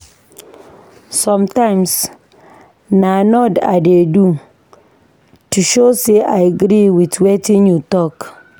Sometimes, na nod I dey do to show sey I agree wit wetin you talk.